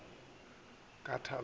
shaba a go thu se